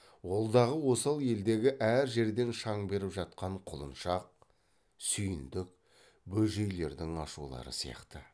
ол дағы осал елдегі әр жерден шаң беріп жатқан құлыншақ сүйіндік бөжейлердің ашулары сияқты